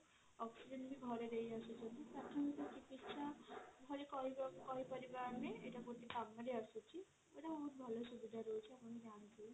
oxygen ଘରେ ଦେଇଆସୁଛନ୍ତି କହିପାରିବା ଆମେ ଗୋଟେ କାମରେ ଆସୁଛି ସେଇଟା ଭଲ ସୁବିଧା ରହୁଛି